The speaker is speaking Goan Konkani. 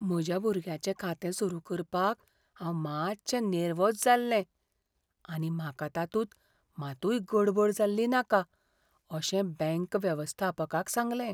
म्हज्या भुरग्याचें खातें सुरू करपाक हांव मातशें नेर्वोझ जाल्लें आनी म्हाका तातूंत मातूय गडबड जाल्ली नाका अशें बँक वेवस्थापकाक सांगलें.